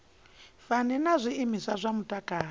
fani na zwiimiswa zwa mutakalo